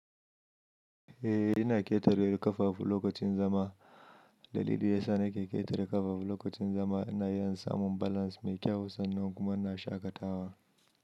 Eh, ina ƙetare ƙafafu lokacin zama. Dalili ya sa na ke ƙetare ƙafafu lokacin zama ina iya in samun balance mai kyau sannan kuma ina shaƙatawa.